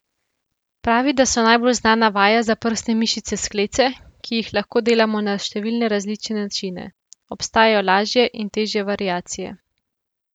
Pravi, da so najbolj znana vaja za prsne mišice sklece, ki ji lahko delamo na številne različne načine: 'Obstajajo lažje in težje variacije.